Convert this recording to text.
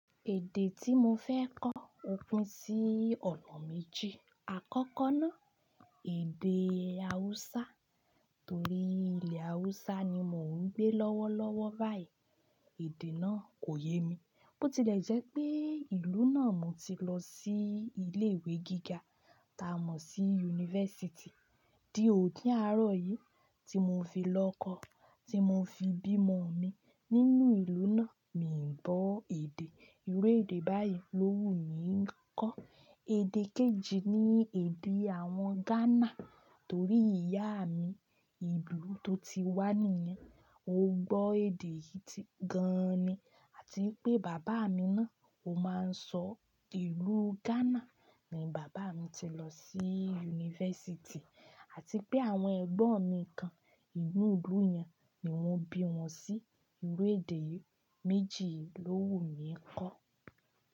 Èdè tí mo fẹ́ kọ o pín sí ọ̀nà méjì. Àkọ́kọ́ náà, èdè Haúsá torí ilẹ̀ Haúsá ni mò ń gbé lọ́wọ́lọ́wọ́ báyìí. Èdè náà kò yé mi. Bó ti lẹ̀ jẹ́ pé ìlú náà mo ti lọ sí ilé ìwé gíga, ta mọ̀ sí unifásítì. Di òní àárọ̀ yìí tí mo fi lọ kọ́, tí mo fi bímo mi nínú ìlú náà, mi ò gbọ́ èdè. Irú èdè báyìí lọ́wù ni ì ń kọ́. Èdè kejì ni èdè àwọn Ghana torí ìyá mi, ìlú tó ti wá nìyẹn. Ó gbọ́ èdè yìí gan ni àti pé bàbá mi náà ó máa ń sọ ìlú Ghana ni bàbá mi ti lọ sí unifásítì àti pé àwọn ẹ̀gbọ́n mi kan inú ìlú yẹn ni wọ́n bí wọn sí. Irú èdè méjì yìí ló wù mí kọ́.